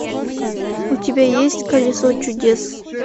у тебя есть колесо чудес